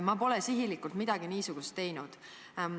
Ma pole sihilikult midagi niisugust teinud.